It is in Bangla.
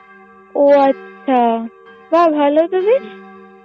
ও আচ্ছা বা ভালোই তো বেশ